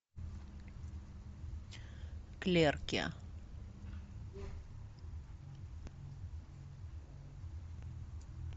клерки